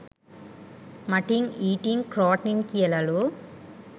Mutton ඊට්න් ක්‍රෝට්න් කියලලු.